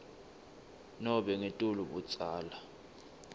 nobe ngetulu budzala